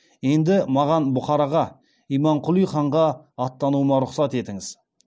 енді маған бұхараға имамқұли ханға аттануыма рұқсат етіңіз